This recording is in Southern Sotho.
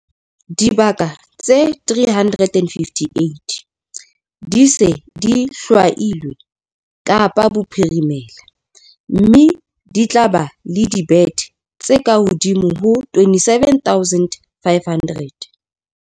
Dibaka tse 358 di se di hlwailwe Kapa Bophirimela, mme di tla ba le dibethe tse kahodimo ho 27 500.